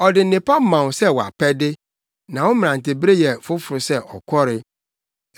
ɔde nnepa ma wo sɛ wʼapɛde, na wo mmerantebere yɛ foforo sɛ ɔkɔre.